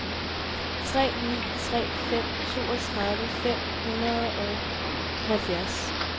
tre ni tre fem toogtredive fem hundrede og halvfjerds